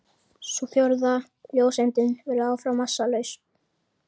Sú fjórða, ljóseindin, verður áfram massalaus.